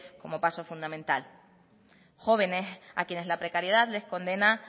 como paso fundamental jóvenes a quienes la precariedad les condena